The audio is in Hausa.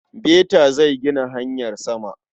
Beta zai gina hanyar sama.